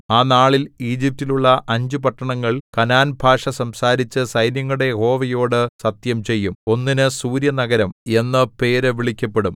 ആ നാളിൽ ഈജിപ്റ്റിലുള്ള അഞ്ച് പട്ടണങ്ങൾ കനാൻ ഭാഷ സംസാരിച്ചു സൈന്യങ്ങളുടെ യഹോവയോടു സത്യം ചെയ്യും ഒന്നിനു സൂര്യനഗരം ഈർ ഹഹേരെസ് എന്നു പേര് വിളിക്കപ്പെടും